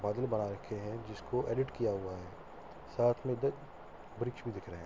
बादल बन रखे हैं जिसको एडिट किया हुआ है साथ में दो वृक्ष भी दिख रहे हैं।